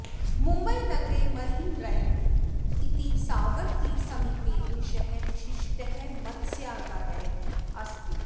मुम्बईनगरे Marine Drive इति सागरतीरसमीपे एषः विशिष्टः मत्स्यागारः अस्ति